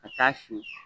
Ka taa si